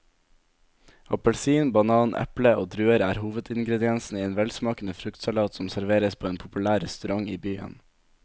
Appelsin, banan, eple og druer er hovedingredienser i en velsmakende fruktsalat som serveres på en populær restaurant i byen.